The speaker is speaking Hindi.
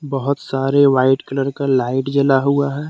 बहुत सारे वाइट कलर का लाइट जल हुआ है।